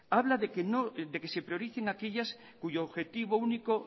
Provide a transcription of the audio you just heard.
habla de que se prioricen aquellas cuyo objetivo único